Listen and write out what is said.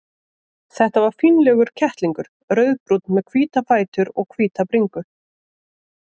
Það var fínlegur kettlingur, rauðbrúnn með hvíta fætur og hvíta bringu.